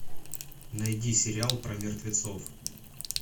найди сериал про мертвецов